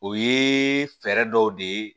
O ye fɛɛrɛ dɔw de ye